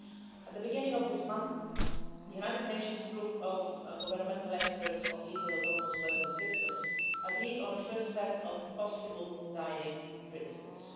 At the beginning of this month, the United Nations Group of Governmental Experts on Lethal Autonomous Weapons Systems agreed on an initial set of possible guiding principles.